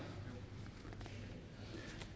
da